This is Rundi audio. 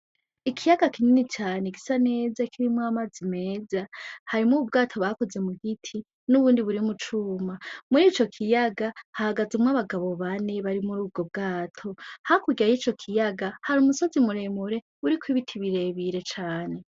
Ikiyaga kinini cane gisa neza kirimwo amazi meza, harimwo ubwato bakoze mu biti n' ubundi buri mu cuma, muri ico kiyaga hahagazemwo abagabo bane bari muri ubwo bwato, hakurya yico kiyaga hari umusozi mure mure uriko ibiti bire bire cane.